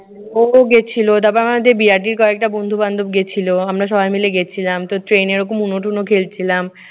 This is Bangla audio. ও তো গেছিল। তারপরে আমাদের বিআরটির কয়েকটা বন্ধু-বান্ধব গিয়েছিল। আমরা সবাই মিলে গেছিলাম। তো ট্রেনে এ রকম উনু টুনু খেলছিলাম।